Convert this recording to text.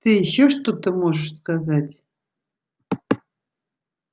ты ещё что-то можешь сказать